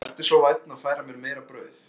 Vertu svo vænn að færa mér meira brauð